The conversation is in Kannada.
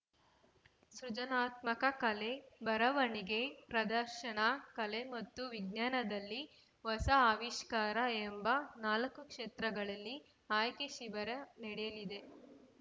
ಸೃಜನಾತ್ಮಕ ಕಲೆ ಬರವಣಿಗೆ ಪ್ರದರ್ಶನ ಕಲೆ ಮತ್ತು ವಿಜ್ಞಾನದಲ್ಲಿ ಹೊಸ ಅವಿಷ್ಕಾರ ಎಂಬ ನಾಲ್ಕು ಕ್ಷೇತ್ರಗಳಲ್ಲಿ ಆಯ್ಕೆ ಶಿಬಿರ ನಡೆಯಲಿದೆ